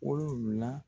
Wolonfila